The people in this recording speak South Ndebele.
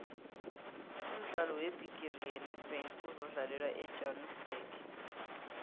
umdlalo webhigiri yenedbank uzokudlalelwa ejoburg